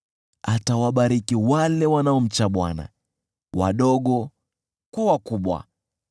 atawabariki wale wanaomcha Bwana , wadogo kwa wakubwa.